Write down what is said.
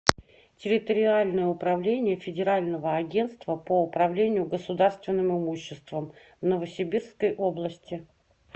территориальное управление федерального агентства по управлению государственным имуществом в новосибирской области